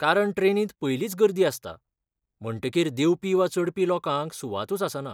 कारण ट्रेनींत पयलींच गर्दी आसता, म्हणटकीर देंवपी वा चडपी लोकांक सुवातूच आसना.